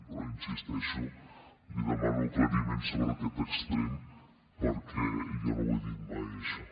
però hi insisteixo li demano aclariments sobre aquest extrem perquè jo no ho dit mai això